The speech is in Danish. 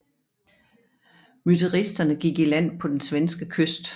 Mytteristerne gik i land på den svenske kyst